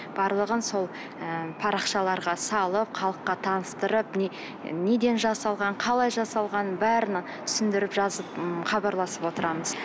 барлығын сол ы парақшаларға салып халыққа таныстырып міне неден жасалған қалай жасалған бәрін түсіндіріп жазып м хабарласып отырамыз